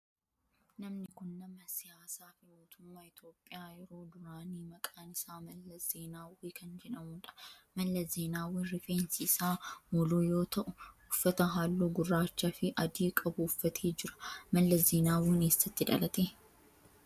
Namni kun nama siyaasaa fi mootummaa Itiyoophiyaa yeroo duraanii maqaan isaa Mallas Zeenaawwii kan jedhamudha. Mallas Zeenaawwiin rifeensi isaa moluu yoo ta'u uffata halluu gurraacha fi adii qabu uffatee jira. Mallas Zeenaawwiin eessatti dhalate?